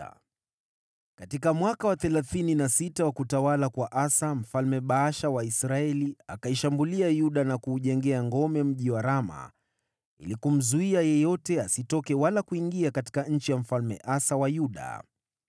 Katika mwaka wa thelathini na sita wa utawala wa Asa, Mfalme Baasha wa Israeli akashambulia Yuda na kuweka ngome mji wa Rama ili kumzuia yeyote asitoke wala kuingia nchi ya Mfalme Asa wa Yuda.